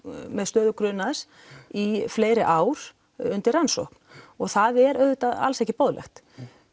með stöðu grunaðs í fleiri ár undir rannsókn það er auðvitað alls ekki boðlegt